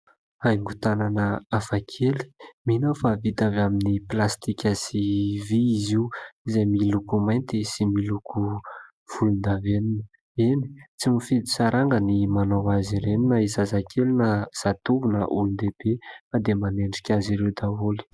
Haingo tanana hafakely mino aho fa vita avy amin'ny plastika sy vy izy io; izay miloko mainty sy miloko volon-davenona ; eny , tsy midi saranga ny manao azy ireny na zazakely na zatovo na olon-dehibe fa dia manendrika azy ireo daholo.